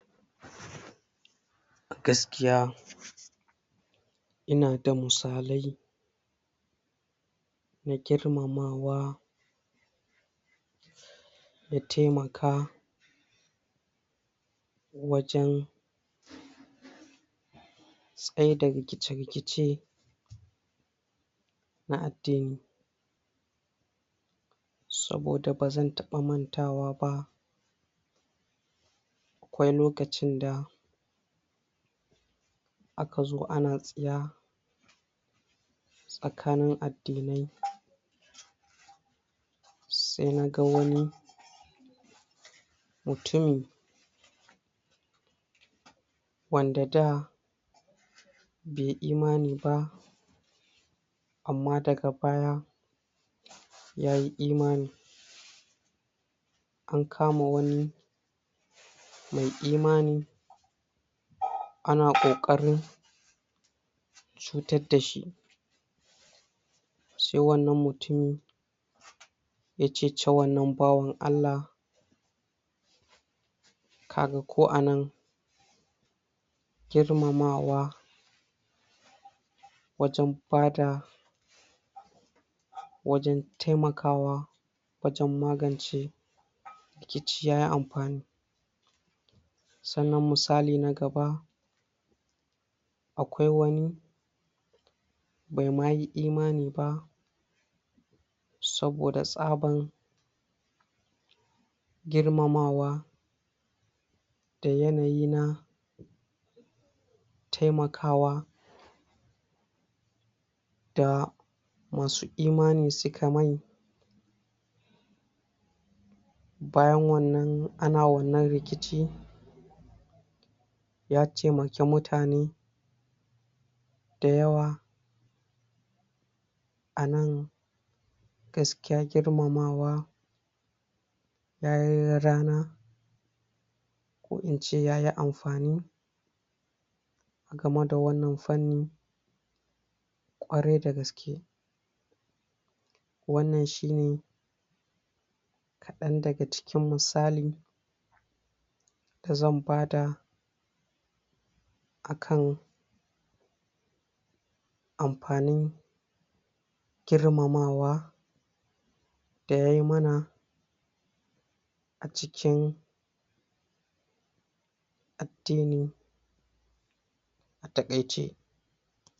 Gaskiya inada musalai na girmamawa ya taimaka wajen tsaida rikice-rikice na addini, saboda ba zan taɓa mantawa ba, akwai lokacin da aka zo ana tsiya tsakanin addinai, sai na ga wani mutumi wanda da bai imani ba amma daga baya ya yi iamani, an kama wani mai imani ana ƙoƙarin cutar da shi, sai wannan mutumi ya ceci wannan bawan Allah, kaga ko anan girmamawa wajen bada wajen taimakawa, wajen magance rikici ya yi amfani, sannan musali na gaba: Akwai wani bai ma yi imani ba saboda tsaban girmamawa da yanayi na taimakawa da ma su imani su ka yi mai, bayan wannan ana wannan rikici ya taimaki mutane da yawa, a nan gaskiya girmamawa ya yi rana, ko in ce yayi amfani, game da wannan fanni ƙwarai da gaske, wannan shine kaɗan daga cikin musali da zan bada a kan amfanin girmamawa da yai ma na a cikin addini a taƙaice.